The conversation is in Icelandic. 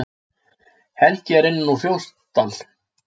Helgi er innan úr Fljótsdal.